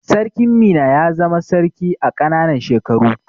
Sarkin Minna ya zama sarki a ƙananan shekaru.